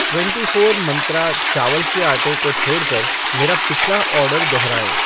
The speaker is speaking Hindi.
ट्वेंटी फ़ोर मंत्रा चावल के आटे को छोड़ कर मेरा पिछला ऑर्डर दोहराएँ।